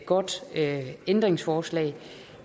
godt ændringsforslag